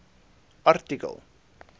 artikel